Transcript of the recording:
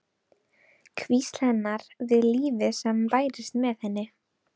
Hvísl hennar við lífið sem bærist með henni.